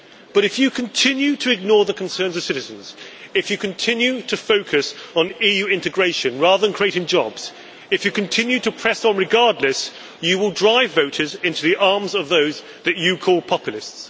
However, if you continue to ignore the concerns of citizens, if you continue to focus on EU integration rather than on creating jobs, if you continue to press on regardless, you will drive voters into the arms of those whom you call populists.